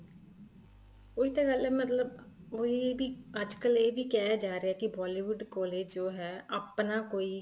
ਉਹੀ ਤਾਂ ਗੱਲ ਹੈ ਮਤਲਬ ਉਹੀ ਵੀ ਅੱਜ ਕੱਲ ਇਹ ਵੀ ਕਿਹਾ ਜਾ ਰਹਿਆ ਕੀ Bollywood ਕੋਲ ਜੋ ਹੈ ਆਪਣਾ ਕੋਈ